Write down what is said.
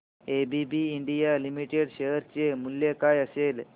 ABB India limited share चे मूल्य काय असेल